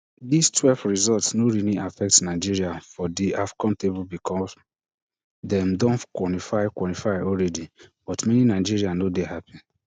dis twelve result no really affect nigeria for di afcon table becos dem don qualify qualify alreadi but many nigerians no dey happi